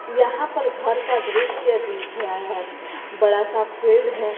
यहां पर घर का दृश्य दिख रहा है बड़ा सा फील्ड है।